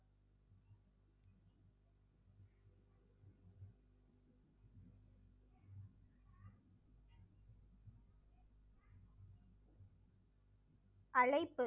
அழைப்பு